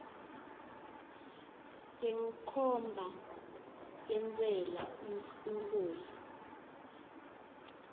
senkhomba yentsela umholo